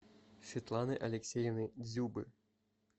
светланы алексеевны дзюбы